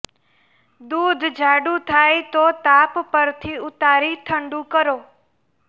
દૂધ જાડુ થાય તો તાપ પરથી ઉતારી ઠંડુ કરો